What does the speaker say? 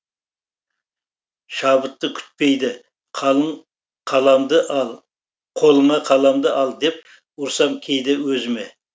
шабытты күтпейді қолыңа қаламды ал деп ұрсам кейде өзіме